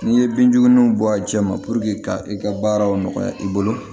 N'i ye binjugu ninnu bɔ a cɛ ma ka i ka baaraw nɔgɔya i bolo